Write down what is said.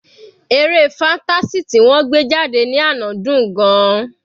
Eré fantasy ti wọ́n gbé jáde ní àná dùn-ún gan-an.